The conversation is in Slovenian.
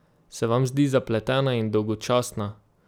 Se vam zdi zapletena in dolgočasna?